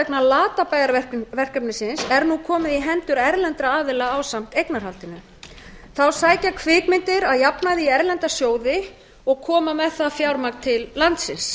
vegna latabæjarverkefnisins er nú komið í hendur erlendra aðila ásamt eignarhaldinu þá sækja kvikmyndir að jafnaði í erlenda sjóði og koma með það fjármagn til landsins